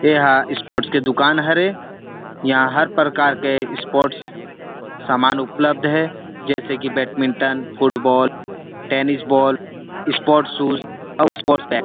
एह स्पोर्टस दुकान हरे इहा हर प्रकार के स्पोर्टस सामान उपलब्ध हरे जैसे कि badminton football tennis ball sports shoe और स्पोर्टस बैट --